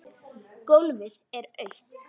Gólfið er autt.